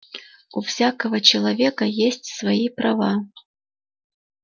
у всякого человека есть свои права